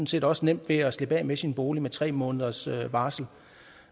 set også nemt ved at slippe af med sin bolig med tre måneders varsel